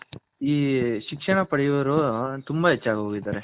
ಈ ಶಿಕ್ಷಣ ಪಡಿಯೋವ್ರು ತುಂಬಾ ಹೆಚ್ಗಆಗಿ ಹೋಗಿದರೆ ಎಲ್ಲರೂ.